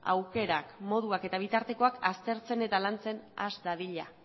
aukerak moduak eta bitartekoak aztertzen eta lantzen has dadila